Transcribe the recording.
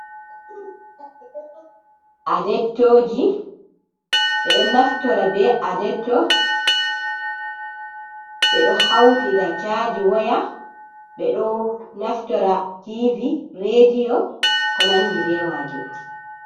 Adektooji, ɓe ɗo naftira be adekkto. Ɓe ɗo hawtira caaji waya, ɓe ɗo naftora Tiivi reediyo, be ko nanndi be maajum.